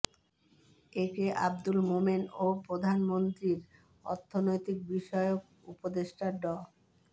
এ K Abdul Momen ও প্রধানমন্ত্রীর অর্থনৈতিক বিষয়ক উপদেষ্টা ড